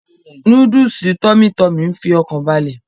Núdúùsù tummy tummy ń fi ọkàn balẹ̀